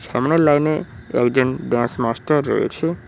সামনের লাইনে একজন ড্যান্স মাস্টার রয়েছে।